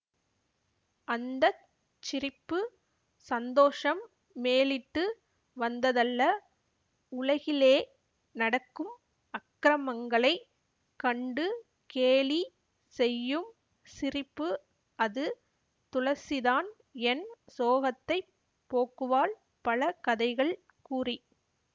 அந்த சிரிப்பு சந்தோஷம் மேலிட்டு வந்ததல்ல உலகிலே நடக்கும் அக்ரமங்களைக் கண்டு கேலி செய்யும் சிரிப்பு அது துளசிதான் என் சோகத்தைப் போக்குவாள் பல கதைகள் கூறி